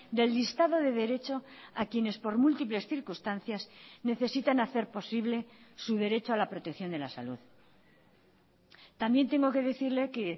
del listado de derecho a quienes por múltiples circunstancias necesitan hacer posible su derecho a la protección de la salud también tengo que decirle que